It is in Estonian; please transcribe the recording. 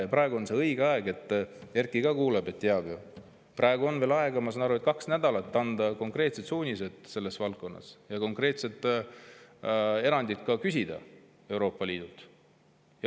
Ja praegu on õige aeg – Erkki ka kuuleb ja teab ju –, praegu on veel, ma saan aru, kaks nädalat aega anda konkreetsed suunised selles valdkonnas ja küsida konkreetsed erandid Euroopa Liidult.